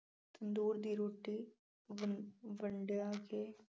ਤੰਦੂਰ ਦੀ ਰੋਟੀ ਵੰਡ ਵੰਡਾ ਕੇ